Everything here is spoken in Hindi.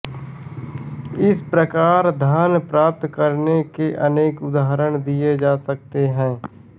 इस प्रकार धन प्राप्त करने के अनेक उदाहरण दिए जा सकते हैं